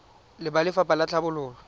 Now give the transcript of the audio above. le ba lefapha la tlhabololo